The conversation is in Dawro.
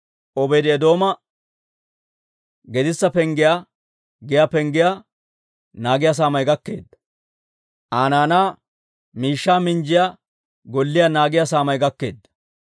Obeedi-Eedooma Gedissa Penggiyaa giyaa penggiyaa naagiyaa saamay gakkeedda. Aa naanaa miishshaa minjjiyaa golliyaa naagiyaa saamay gakkeedda.